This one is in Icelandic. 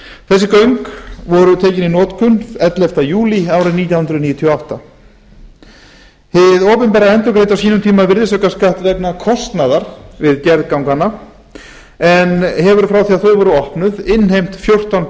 þessi göng voru tekin í notkun ellefta júlí árið nítján hundruð níutíu og átta hið opinbera endurgreiddi á sínum tíma virðisaukaskatt vegna kostnaðar við gerð ganganna en hefur frá því að þau voru opnu innheimt þrettán